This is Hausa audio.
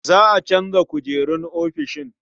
A canza kujerun ofishin.